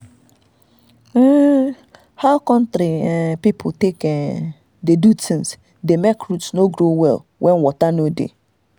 how um country um people take um dey do things dey make root no grow well when water no dey.